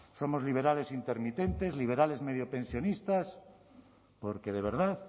somos liberales intermitentes liberales mediopensionistas porque de verdad